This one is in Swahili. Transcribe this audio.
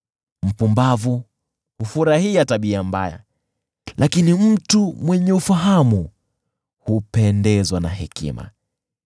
Mpumbavu hufurahia tabia mbaya, lakini mtu mwenye ufahamu hupendezwa na hekima.